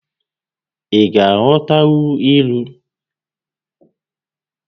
Ị ga-aghọtanwu ilu?